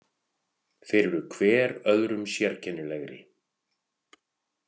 Þeir eru hver öðrum sérkennilegri.